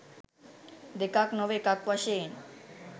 දෙකක් නොව එකක් වශයෙන්